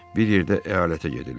Bir yerdə əyalətə gedirlər.